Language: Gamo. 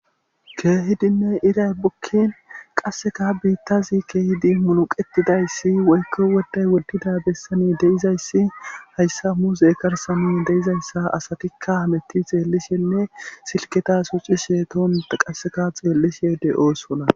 keehidinne iray bukkin qasseka biittazi keehidi munuqetidayssi woykko woday woddida bessani deizayssi hayssa muuse karsami deizayssa asatikka hametti xeellishenne silketa suxi sheetona qasseka xeellishe de7oo sona